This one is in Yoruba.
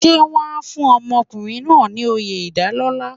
Ṣé wọ́n á fún ọkùnrin náà ní oyè ìdálọ́lá.